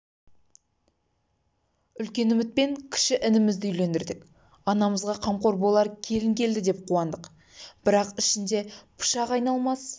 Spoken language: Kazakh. үлкен үмітпен кіші інімізді үйлендірдік анамызға қамқор болар келін келді деп қуандық бірақ ішінде пышақ айналмас